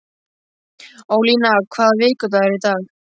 Ólína, hvaða vikudagur er í dag?